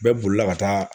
Bɛɛ bolila ka taa